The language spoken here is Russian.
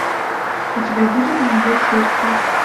у тебя будет ее сердце